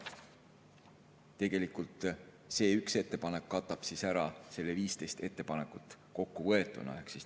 Tegelikult see üks ettepanek katab ära kokku 15 ettepanekut.